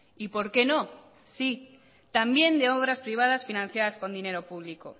y por qué no sí también de obras privadas financiadas con dinero público